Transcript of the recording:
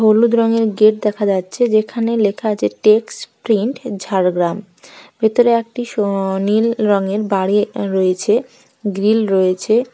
হলুদ রঙের গেট দেখা যাচ্ছে যেখানে লেখা আছে টেক্সট প্রিন্ট ঝাড়গ্রাম ভেতরে একটি -সুনীল রঙের বাড়ি রয়েছে গ্রিল রয়েছে--